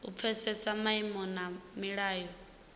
u pfesesa maimo na milayo